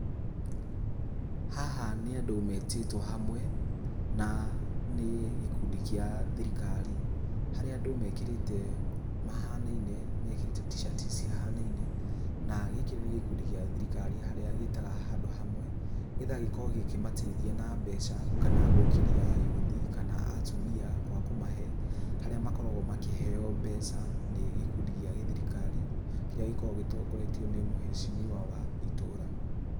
Haha nĩ andũ metĩtwo hamwe, na nĩ gikundi kĩa thirikari, harĩa andũ mekĩrĩte mahanaine mekĩrĩte t-shirt cihanaine, na gĩkĩ nĩ gĩkundi gĩa thirikari harĩa gĩtaga handũ hamwe , nĩgetha gikorwo cikimateithia na mbeca kana gũkĩria ayuthi kana atumia kwa kũmahe harĩa makoragwo makĩheo mbeca ni gĩkundi gĩa githirikari, kĩria gĩkoragwo gĩtongoretio nĩ mheshimiwa wa itũra.